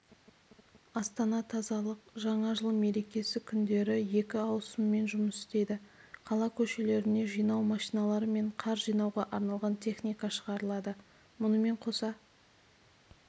астана-тазалық жаңа жыл мерекесі күндері екі ауысыммен жұмыс істейді қала көшелеріне жинау машиналары мен қар жинауға арналған техника шығарылады мұнымен қоса